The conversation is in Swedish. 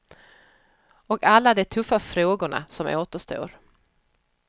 Och alla de tuffa frågorna som återstår.